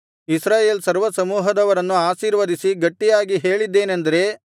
ಇಸ್ರಾಯೇಲ್ ಸರ್ವಸಮೂಹದವರನ್ನು ಆಶೀರ್ವದಿಸಿ ಗಟ್ಟಿಯಾಗಿ ಹೇಳಿದ್ದೇನಂದರೆ